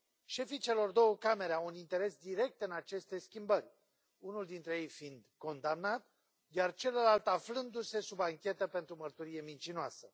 Șefii celor două camere au un interes direct în aceste schimbări, unul dintre ei fiind condamnat, iar celălalt aflându se sub anchetă pentru mărturie mincinoasă.